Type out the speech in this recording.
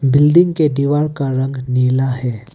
Building के दीवार का रंग नीला है।